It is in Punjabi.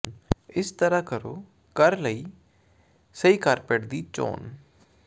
ਇਸ ਤਰ੍ਹਾਂ ਕਰੋ ਘਰ ਲਈ ਸਹੀ ਕਾਰਪੈਟ ਦੀ ਚੋਣ